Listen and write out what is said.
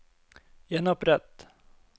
gjenopprett